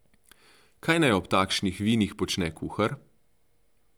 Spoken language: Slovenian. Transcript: Kaj naj ob takšnih vinih počne kuhar?